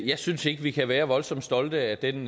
jeg synes ikke vi kan være voldsomt stolte af den